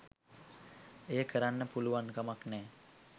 එය කරන්න පුළුවන්කමක් නෑ.